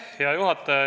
Hea juhataja!